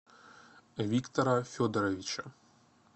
виктора федоровича